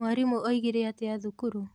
Mwarimũ oigire atĩa thukuru?